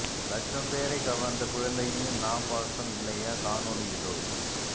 லட்சம் பேரை கவர்ந்த குழந்தையின் நா பாசம் இல்லையா காணொளி இதோ